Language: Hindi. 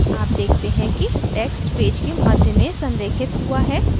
आप देखते हैं कि text पेज में मध्य में संरेखित हुआ है